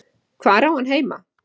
Hvar á hann heima?